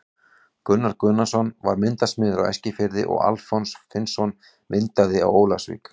Gunnar Gunnarsson var myndasmiður á Eskifirði og Alfons Finnsson myndaði á Ólafsvík.